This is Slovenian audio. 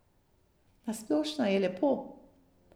Na splošno je lepo.